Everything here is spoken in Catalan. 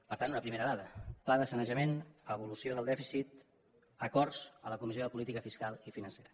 per tant una primera dada pla de sanejament evolució del dèficit acords a la comissió de política fiscal i financera